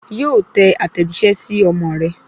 Yóò tẹ àtẹ̀jíṣẹ́ sí ọmọ rẹ̀